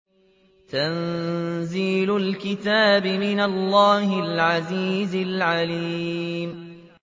تَنزِيلُ الْكِتَابِ مِنَ اللَّهِ الْعَزِيزِ الْعَلِيمِ